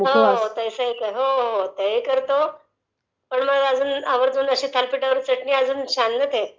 ते ही करतो...पण मग असी थालपिठाबराबर चटणी म्हणजे असं...अजून छान ना काही..